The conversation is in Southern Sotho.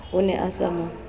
o ne a sa mo